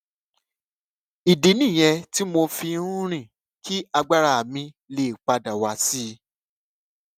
ìdí nìyẹn tí mo fi ń rìn kí agbára mi lè pa dà wá sí i